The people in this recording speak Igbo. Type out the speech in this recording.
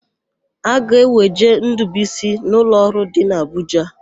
A ga-eweje Ndụbụisi n'ụlọọrụ dị n'Abụja.